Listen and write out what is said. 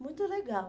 Muito legal.